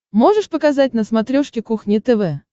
можешь показать на смотрешке кухня тв